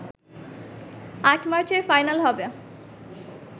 ৮ মার্চের ফাইনাল হবে